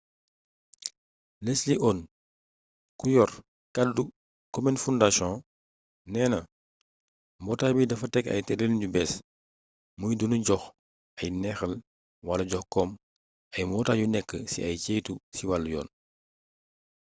leslie aun ku yor kaddu komen foundation neena mbootaay bi dafa teg ab tërëlin bu bees muy du nu jox ay neexal wala jox kom ay mbootaay yu nekk ci ay ceytu ci wàllu yoon